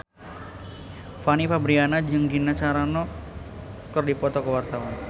Fanny Fabriana jeung Gina Carano keur dipoto ku wartawan